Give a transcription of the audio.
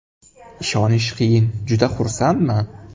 Ishonish qiyin, juda xursandman.